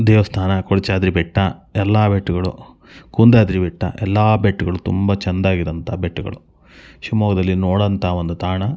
ದೇವಸ್ಥಾನ ಕೊಡಚಾದ್ರಿ ಬೆಟ್ಟ ಎಲ್ಲ ಬೆಟ್ಟಗಳು ಕುಂದಾದ್ರಿ ಬೆಟ್ಟ ಎಲ್ಲ ಬೆಟ್ಟಗಳು ತುಂಬಾ ಚೆನ್ನಾಗಿ ಇರುವಂಥ ಬೆಟ್ಟಗಳು ಶಿವಮೊಗ್ಗದಲ್ಲಿ ನೋಡುವಂಥ ಒಂದು ತಾಣ--